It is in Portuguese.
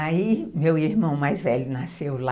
Aí meu irmão mais velho nasceu lá.